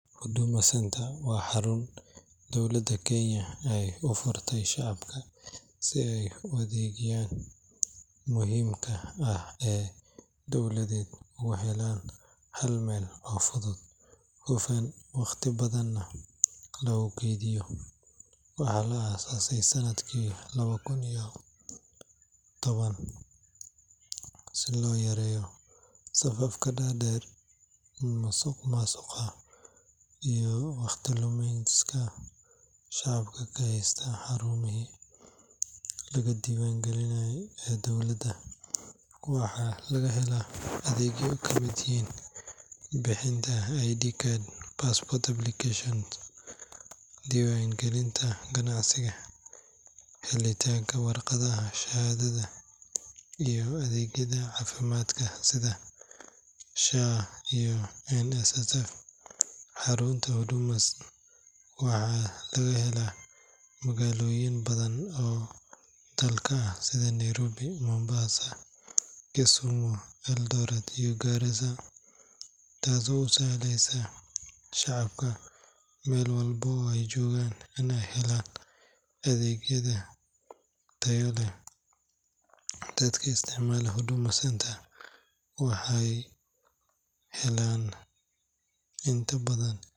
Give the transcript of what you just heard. Huduma centre waa xarun dowlada kenya ay u furtay shacabka si ay u adeegayaan Muhiimka ah ee dowladeed wax yeelaan haal meel oo fudud hufan waqti badanna lagu keydiyo Waxaa la aasaasay sannadkii 2010 Si loo yareeyo safafka dhaadheer masuq maasuqa iyo waqti lumi iska shacabka ka haysta xarumihii laga diiwaan gelinayo ee dowladda waxa laga helaa adeegyo kamid yihiin bixintanka ID card, passport application, Diiwaangelinta ganacsiga helitaanka warqada shahaadada iyo adeegyada caafimaadka ah sida SHA iyo NSSF.Xaruunta huduma ayaWaxaa laga helaa magaalooyin badan oo dalka ah sida Nairobi, mombasa, Kisumu ,Eldoret iyo Garissa. Taasoo u sahleysa shacabka meel walba oo ay joogaan kana hela adeegyada tayada. dadki isticmaalo huduma centre waxay helaan in taa badan.